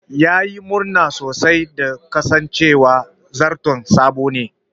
Ya yi murna sosai da kasancewa zarton sabo ne.